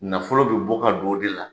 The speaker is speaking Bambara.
Nafolo bɛ bɔ ka don o de la.